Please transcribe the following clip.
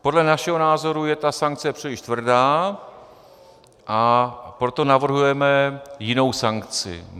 Podle našeho názoru je ta sankce příliš tvrdá, a proto navrhujeme jinou sankci.